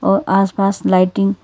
और आस पास लाइटिंग --